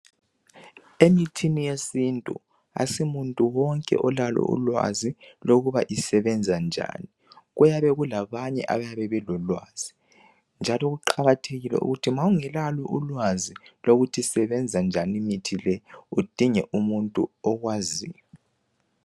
emithini yesintu asu muntu wonke olalo ulwazi lokuba isebenza njani kuyabe kulabanye abayabe belolwazi njalo kuqakathekile ukuthi ma uyabe ungelalo ulwazi lokuthi isebenza njani imithi udinge umuntu okwaziyo